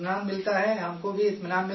ہم کو بھی اطمینان ملتا ہے سر